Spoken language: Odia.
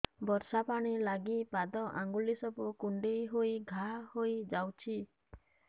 ବର୍ଷା ପାଣି ଲାଗି ପାଦ ଅଙ୍ଗୁଳି ସବୁ କୁଣ୍ଡେଇ ହେଇ ଘା ହୋଇଯାଉଛି